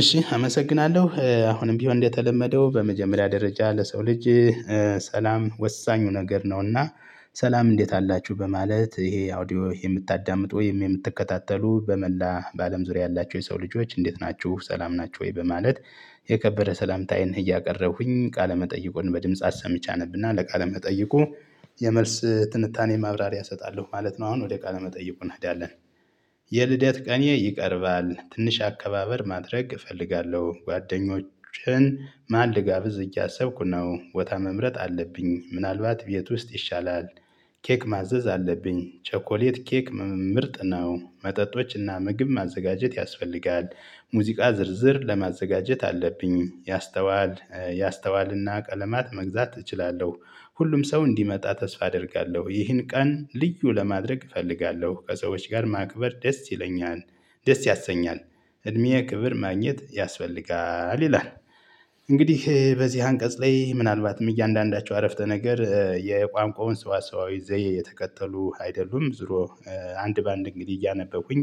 እሺ አመሰግናለሁ አሁንም ቢሆን እንደተለመደው በመጀመሪያ ደረጃ ለሰው ልጅ ሰላም ወሳኙ ነገር ነው። እና ሰላም እንዴት አላችሁ በማለት ይሄ አውዲዮ የምታዳምጡ ወይም የምትከታተሉ በመላ በአለም ዙሪያ ያላችው የሰው ልጆች እንዴት ናችሁ? ሰላም ናችሁ ወይ? በማለት የከበረ ሰላምታዬን እያቀረብኩኝ ቃለመጠይቁን በድምጽ አሰምቼ አነብ እና ለቃለመጠይቁ የመልስ ትንታኔ ማብራሪያ እሰጣለሁ ማለት ነው። አሁን ወደ ቃለ መጠይቁ እንሄዳለን። የልደት ቀኔ ይቀርባል ትንሽ አከባበር ማድረግ እፈልጋለሁ ጓደኞቼን ማን ልጋብዝ እያሰብኩ ነው ቦታ መምረጥ አለብኝ ምናልባት ቤት ውስጥ ይሻላል። ኬክ ማዘዝ አለብኝ ቸኮሌት ኬክ ምርጥ ነው መጠጦች እና ምግብ ማዘጋጀት ያስፈልጋል። ሙዚቃ ዝርዝር ለማዘጋጀት አለብኝ ያስተዋል ያስተዋል እና ቀለማት መግዛት እችላለሁ። ሁሉም ሰው እንዲመጣ ተስፋ አደርጋለሁ ይህን ቀን ልዩ ለማድረግ እፈልጋለሁ ከሰዎች ጋር ማክበር ደስ ይለኛል። ደስ ያሰኛል እድሜ ክብር ማግኘት ያስፈልጋል ይላል። እንግዲህ በዚህ አንቀጽ ላይ ምናልባትም እያንዳንዳቸው አረፍተ ነገር የቋንቋውን ስዋሰዋዊ ዘዬ የተከተሉ አይደሉም። ዙሮ አንድ በአንድ እንግዲህ እያነበብኩኝ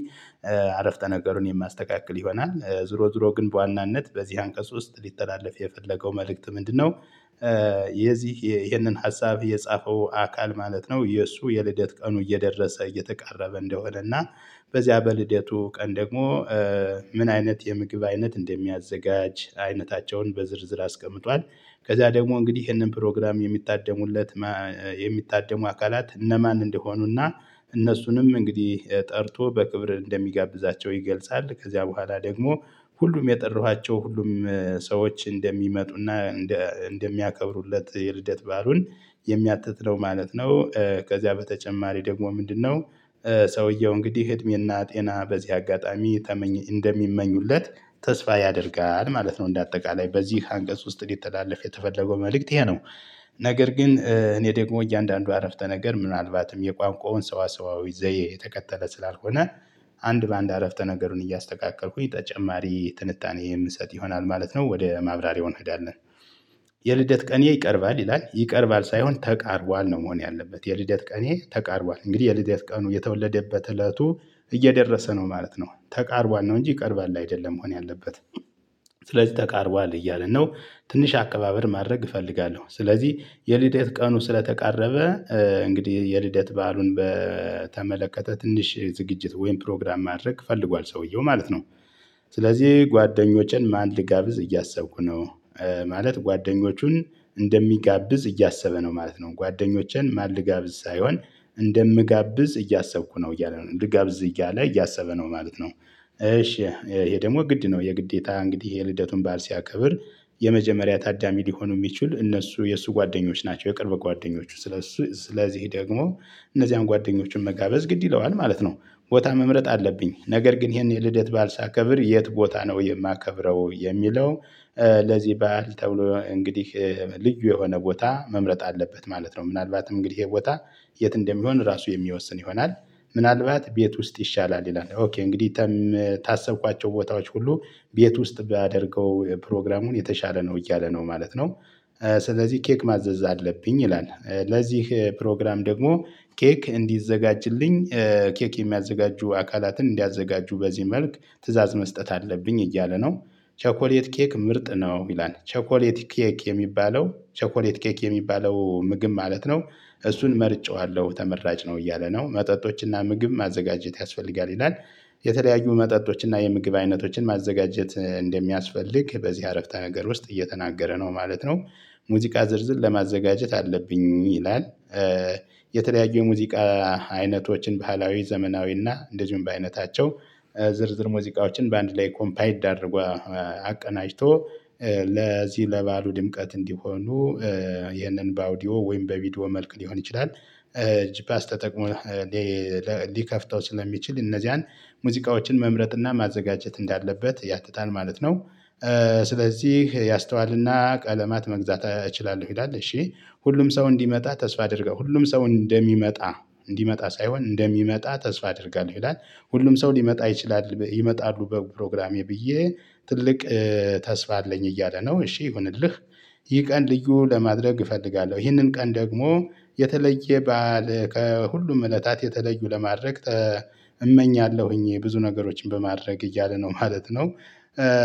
አረፍተ ነገሩን የማስተካክል ይሆናል። ዙሮ ዙሮ ግን በዋናነት በዚህ አንቀጽ ውስጥ ሊተላለፍ የፈለገው መልእክት ምንድነው? የዚህ ይሄንን ሀሳብ የጻፈው አካል ማለት ነው። የእሱ የልደት ቀኑ እየደረሰ እየተቃረበ እንደሆነ እና በዚያ በልደቱ ቀን ደግሞ ምን አይነት የምግብ አይነት እንደሚያዘጋጅ አይነታቸውን በዝርዝር አስቀምጧል። ከዛ ደግሞ እንግዲህ ይሄንን ፕሮግራም የሚታደሙለት የሚታደሙ አካላት እነማን እንደሆኑ እና እነሱንም እንግዲህ ጠርቶ በክብር እንደሚጋብዛቸው ይገልጻል። ከዚያ በኋላ ደግሞ ሁሉም የጠራኋቸው ሁሉም ሰዎች እንደሚመጡ እና እንደ እንደሚያከብሩለት የልደት በዓሉን የሚያትት ነው ማለት ነው። ከዚያ በተጨማሪ ደግሞ ምንድነው? ሰውየው እንግዲህ እድሜ እና ጤና በዚህ አጋጣሚ ተመኝ እንደሚመኙለት ተስፋ ያደርጋል ማለት ነው። እንደ አጠቃላይ በዚህ አንቀጽ ውስጥ ሊተላለፍ የተፈለገው መልእክት ይሄ ነው። ነገር ግን እኔ ደግሞ እያንዳንዱ አረፍተ ነገር ምናልባትም የቋንቋውን ሰዋሰዋዊ ዘዬ የተከተለ ስላልሆነ። አንድ በአንድ አረፍተ ነገሩን እያስተካከልኩኝ ተጨማሪ ትንታኔ የምሰጥ ይሆናል ማለት ነው። ወደ ማብራሪያው እንሄዳለን። የልደት ቀኔ ይቀርባል ይላል ይቀርባል ሳይሆን ተቃርቧል ነው መሆን ያለበት የልደት ቀኔ ተቃርቧል እንግዲህ የልደት ቀኑ የተወለደበት እለቱ እየደረሰ ነው ማለት ነው ተቃርቧል ነው እንጂ ይቀርባል አይደለም መሆን ያለበት። ስለዚህ ተቃርቧል እያልን ነው። ትንሽ አቀባበል ማድረግ እፈልጋለሁ ስለዚህ የልደት ቀኑ ስለተቃረበ እንግዲህ የልደት በዓሉን በተመለከተ ትንሽ ዝግጅት ወይም ፕሮግራም ማድረግ ፈልጓል ሰውየው ማለት ነው። ስለዚህ ጓደኞቼን ማን ልጋብዝ እያሰብኩ ነው። ማለት ጓደኞቹን እንደሚጋብዝ እያሰበ ነው ማለት ነው ጓደኞቼን ማን ልጋብዝ ሳይሆን እንደምጋብዝ እያሰብኩ ነው እያለ ነው ልጋብዝ እያለ እያሰበ ነው ማለት ነው። እሺ ይሄ ደግሞ ግድ ነው የግዴታ እንግዲህ የልደቱን በዓል ሲያከብር የመጀመሪያ ታዳሚ ሊሆኑ የሚችሉ እነሱ የእሱ ጓደኞች ናቸው የቅርብ ጓደኞቹ ስለእሱ ስለዚህ ደግሞ እነዚያን ጓደኞቹን መጋበዝ ግድ ይለዋል ማለት ነው። ቦታ መምረጥ አለብኝ ነገር ግን ይሄን የልደት በዓል ሳከብር የት ቦታ ነው የማከብረው የሚለው? ለዚህ በዓል ተብሎ እንግዲህ ልዩ የሆነ ቦታ መምረጥ አለበት ማለት ነው። ምናልባትም እንግዲህ ይሄ ቦታ የት እንደሚሆን ራሱ የሚወስን ይሆናል። ምናልባት ቤት ውስጥ ይሻላል ይላል ኦኬ እንግዲህ። ታሰብኳቸው ቦታዎች ሁሉ ቤት ውስጥ ባደርገው ፕሮግራሙን የተሻለ ነው እያለ ነው ማለት ነው። ስለዚህ ኬክ ማዘዝ አለብኝ ይላል ለዚህ ፕሮግራም ደግሞ ኬክ እንዲዘጋጅልኝ ኬክ የሚያዘጋጁ አካላትን እንዲያዘጋጁ በዚህ መልክ ትእዛዝ መስጠት አለብኝ እያለ ነው። ቸኮሌት ኬክ ምርጥ ነው ይላል ቸኮሌት ኬክ የሚባለው ቸኮሌት ኬክ የሚባለው ምግብ ማለት ነው። እሱን መርጬዋለሁ ተመራጭ ነው እያለ ነው መጠጦች እና ምግብ ማዘጋጀት ያስፈልጋል ይላል። የተለያዩ መጠጦች እና የምግብ አይነቶችን ማዘጋጀት እንደሚያስፈልግ በዚህ አረፍተ ነገር ውስጥ እየተናገረ ነው ማለት ነው። ሙዚቃ ዝርዝር ለማዘጋጀት አለብኝ ይላል። የተለያዩ የሙዚቃ አይነቶችን ባህላዊ ዘመናዊ እና እንደዚሁም በአይነታቸው ዝርዝር ሙዚቃዎችን በአንድ ላይ ኮምፓይልድ አድርጎ አቀናጅቶ ለዚህ ለበዓሉ ድምቀት እንዲሆኑ ይህንን በአውዲዮ ወይም በቪዲዮ መልክ ሊሆን ይችላል። ጂፓስ ተጠቅሞ ሊከፍተው ስለሚችል እነዚያን ሙዚቃዎችን መምረጥ እና ማዘጋጀት እንዳለበት ያትታል ማለት ነው። ስለዚህ ያስተዋል እና ቀለማት መግዛት እችላለሁ ይላል። እሺ ሁሉም ሰው እንዲመጣ ተስፋ አድርገው ሁሉም ሰው እንደሚመጣ እንዲመጣ ሳይሆን እንደሚመጣ ተስፋ አደርጋለሁ ይላል። ሁሉም ሰው ሊመጣ ይችላል ይመጣሉ በፕ ፕሮግራሜ ብዬ ትልቅ ተስፋ አለኝ እያለ ነው። እሺ ይሁንልህ። ይህ ቀን ልዩ ለማድረግ እፈልጋለሁ ይህንን ቀን ደግሞ የተለየ በዓል ሁሉም እለታት የተለዩ ለማድረግ እመኛለሁኝ ብዙ ነገሮችን በማድረግ እያለ ነው ማለት ነው።